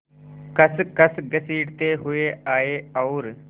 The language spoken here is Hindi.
खसखस घसीटते हुए आए और